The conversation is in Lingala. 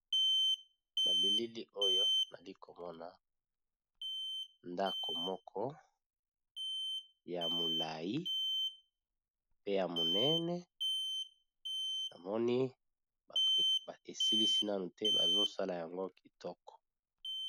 Nabilili oyo nazali komona ndako moko yakitoko ya molai pe ya monene namoni basilisi nanote bazo salayango kitoko